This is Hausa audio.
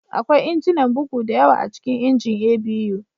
Akwai injinan bugu da yawa a cikin injin A.B.U